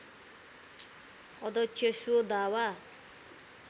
अध्यक्ष स्व दावा